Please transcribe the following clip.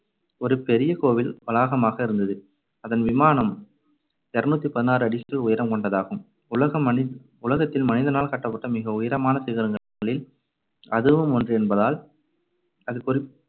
ஒரு பெரிய கோவில் வளாகமாக இருந்தது. அதன் விமானம் இருநூத்தி பதினாறு அடிகள் உயரம் கொண்டதாகும். உலக~ நனி~ உலகத்தில் மனிதனால் கட்டப்பட்ட மிக உயரமான சிகரங்களில் அதுவும் ஒன்று என்பதால் அது குறிப்~